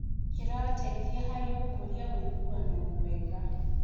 Kĩrateithia harĩ gũkũria ũiguano mwega.